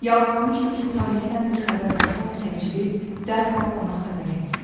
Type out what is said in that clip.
Yalvarmışdı ki, Talehdən bir xəbər olsa, təcili, dərhal ona xəbər etsinlər.